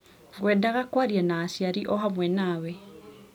Ngwendaga kũaria na aciari o hamwe nawe.